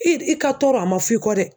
I r i ka tɔɔrɔ a ma f'i kɔ dɛ.